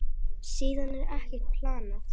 Síðan er ekkert planað.